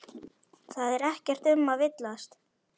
Það er ekkert um að villast.